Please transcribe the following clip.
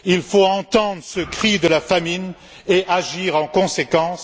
Il faut entendre ce cri de la famine et agir en conséquence.